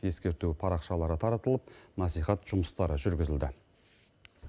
ескерту парақшалары таратылып насихат жұмыстары жүргізілді